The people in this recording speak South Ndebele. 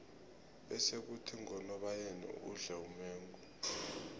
bese khuthi ngonobayeni udle umengo